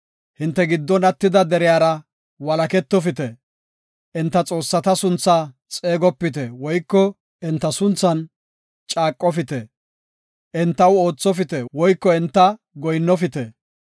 Hinte giddon attida deriyara walaketofite. Enta xoossata sunthaa xeegopite woyko enta sunthan caaqofite. Entaw oothopite woyko entaw goyinnofite.